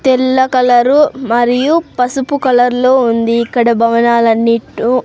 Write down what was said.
తెల్ల కలరు మరియు పసుపు కలర్ లో ఉంది ఇక్కడ భవనాలన్నీ ఇటు.